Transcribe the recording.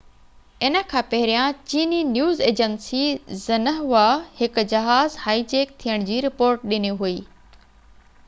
ان کان پهريان چيي نيوز ايجنسي زنهوا هڪ جهاز هائي جيڪ ٿيڻ جي رپورٽ ڏني هئي